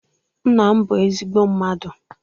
Nna m bụ ezigbọ mmadụ